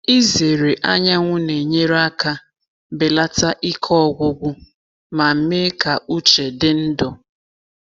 Ịzere anyanwụ na-enyere aka belata ike ọgwụgwụ ma mee ka uche dị ndụ.